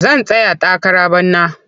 Zan tsaya takara bana.